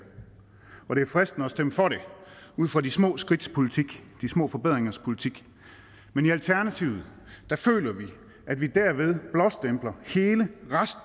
og det er fristende at stemme for det ud fra de små skridts politik de små forbedringers politik men i alternativet føler vi at vi derved blåstempler hele